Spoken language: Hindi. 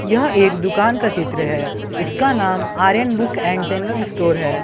यह एक दुकान का चित्र है इसका नाम Aryan book and general store है।